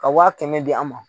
Ka wa kɛmɛ di an ma.